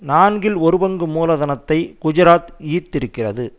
நான்கில் ஒரு பங்கு மூலதனத்தை குஜராத் ஈர்த்திருக்கிறது